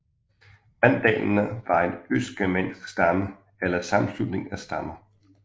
Vandalerne var en østgermansk stamme eller sammenslutning af stammer